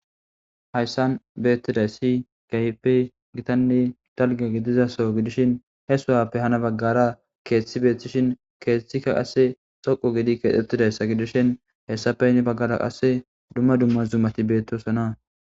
hayssan beettidayssi gayppe gitanni dalge gidizaso gidishin he suhappe hana baggara keeththi beethtishin keethethikka qasse xoqu gidi keexxettidayssa gidishin hessapeynni baggada qasse dumma dumma zumati beettosona